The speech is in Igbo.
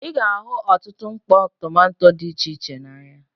Ị ga-ahụ ọtụtụ mkpọ tomanto dị iche iche n'ahịa.